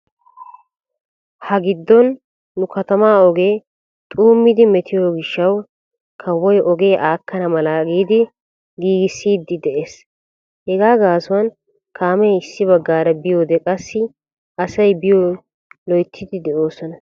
Ha giddon nu katamaa ogee xuummidi metiyo gishshawu kawoy ogee aakkana mala giidi giigississiiddi de'ees. Hegaa gaasuwan kaamee issi baggaara biyode qassi asay biyo loyttiiddi de'oosona.